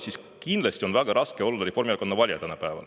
Kindlasti on tänapäeval väga raske olla Reformierakonna valija.